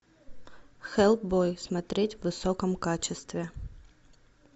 хеллбой смотреть в высоком качестве